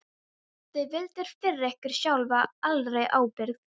Þið vilduð firra ykkur sjálfa allri ábyrgð.